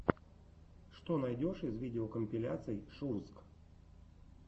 что найдешь из видеокомпиляций шурзг